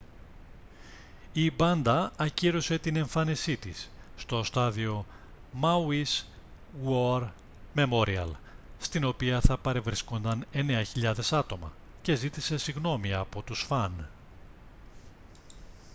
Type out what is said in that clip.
η μπάντα ακύρωσε την εμφάνισή της στο στάδιο μάουις γουορ μεμόριαλ στην οποία θα παρευρίσκονταν 9.000 άτομα και ζήτησε συγγνώμη από τους φαν